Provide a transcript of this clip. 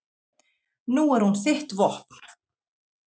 Nú er hún þitt vopn.